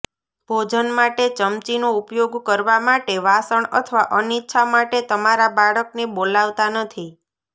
ભોજન માટે ચમચીનો ઉપયોગ કરવા માટે વાસણ અથવા અનિચ્છા માટે તમારા બાળકને બોલાવતા નથી